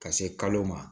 Ka se kalo ma